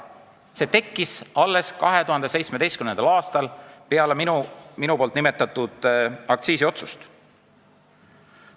See tekkis alles 2017. aastal peale nimetatud aktsiisiotsust.